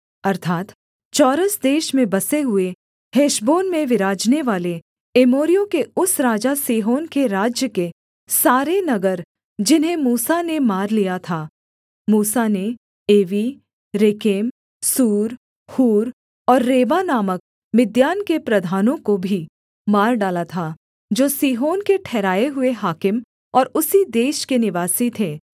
अर्थात् चौरस देश में बसे हुए हेशबोन में विराजनेवाले एमोरियों के उस राजा सीहोन के राज्य के सारे नगर जिन्हें मूसा ने मार लिया था मूसा ने एवी रेकेम सूर हूर और रेबा नामक मिद्यान के प्रधानों को भी मार डाला था जो सीहोन के ठहराए हुए हाकिम और उसी देश के निवासी थे